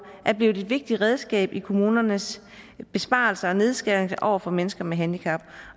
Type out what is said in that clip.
er blevet et vigtigt redskab i kommunernes besparelser og nedskæringer over for mennesker med handicap